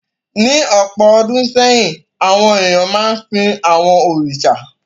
Ní ọ̀pọ̀ ọdún sẹ́yìn, àwọn èèyàn máa ń sìn àwọn òrìṣà.